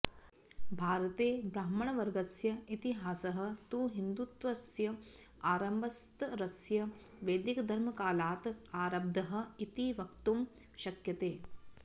भारते ब्राह्मणवर्गस्य इतिहासः तु हिन्दुत्वस्य आरम्भस्तरस्य वैदिकधर्मकालात् आरब्धः इति वक्तुं शक्यते